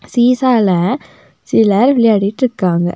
சீசால சிலர் விளையாட்டு இருக்காங்க.